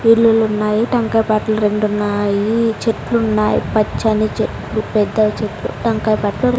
ఇల్లులున్నాయి టెంకాయ పట్లు రెండున్నాయి చెట్లున్నాయి పచ్చని చెట్లు పెద్ద చెట్లు టెంకాయ --